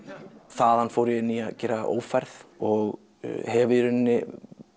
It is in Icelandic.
þaðan fór ég inn í að gera ófærð og hef í rauninni